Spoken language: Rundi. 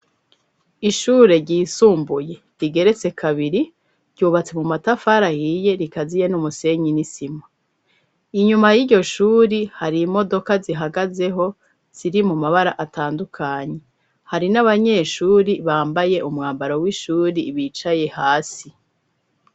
Ishure ryisumbuye, rigeretse kabiri, ryubatse mu matafari ahiye, rikaziye n'umusenyi n'isima inyuma y'iryo shuri, hari imodoka, zihagazeho, ziri mu mabara atandukanye, hari n'abanyeshuri, bambaye umwambaro w'ishuri, bicaye hasi.